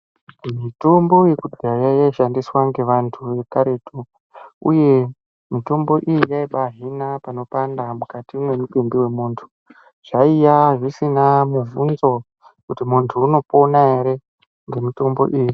Mitombo yekudhaya yaishandiswa ngevantu vekaretu uye mitombo iyi yaibahina panopanda mukati mwemutumbi wemuntu. Zvaiya zvisina mubvunzo kuti muntu unopona ere ngemitombo iyi.